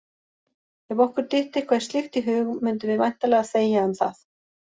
Ef okkur dytti eitthvað slíkt í hug mundum við væntanlega þegja um það!